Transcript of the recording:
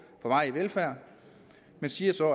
varig velfærd man siger så